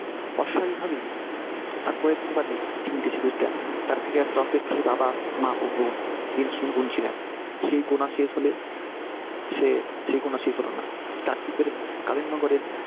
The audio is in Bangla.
অস্বাভাবিক ভাবেই আর কিয়েকদিন বাদেই তিনি দেশের তার ফিরে আসার অপেক্ষায় বাবা, মা ও বোন দিন শুধু গুনছিলেন। সেই গোনা শেষ হলে সে সেই গোনা শেষ হল না। কাকদ্বীপের কালীন নগরের